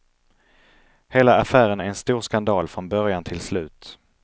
Hela affären är en stor skandal från början till slut.